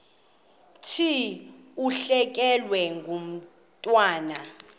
thi ulahlekelwe ngumntwana